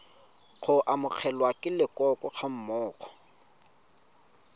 go amogelwa ke leloko gammogo